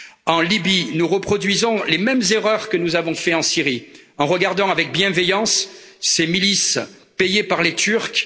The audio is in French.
En Libye, nous reproduisons les mêmes erreurs que celles que nous avons commises en Syrie, en regardant avec bienveillance ces milices payées par les Turcs.